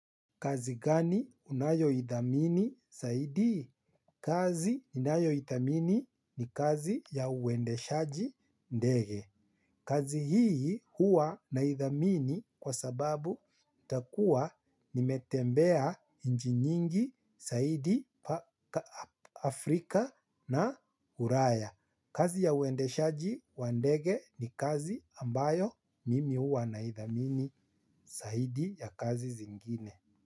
Kazi gani unayo ithamini zaidi? Kazi nayoithamini ni kazi ya uendeshaji ndege. Kazi hii hua na ithamini kwa sababu itakuwa nimetembea nchi nyingi zaidi Afrika na Ulaya. Kazi ya uendeshaji wa ndege ni kazi ambayo mimi huwa na ithamini zaidi ya kazi zingine.